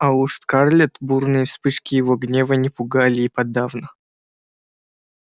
а уж скарлетт бурные вспышки его гнева не пугали и подавно